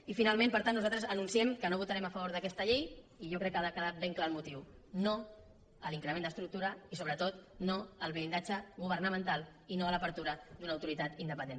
i finalment per tant nosaltres anunciem que no votarem a favor d’aquesta llei i jo crec que n’ha quedat ben clar el motiu no a l’increment d’estructura i sobretot no al blindatge governamental i no a l’obertura d’una autoritat independent